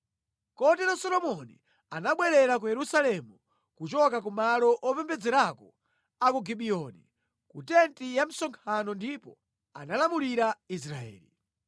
Kotero Solomoni anabwerera ku Yerusalemu kuchoka kumalo opembedzerako a ku Gibiyoni, ku tenti ya msonkhano ndipo analamulira Israeli.